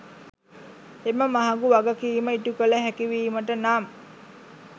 එම මහගු වගකිම ඉටුකල හැකිවිමට නම්